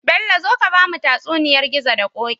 Bello zo ka bamu tatsuniyar gizo da koki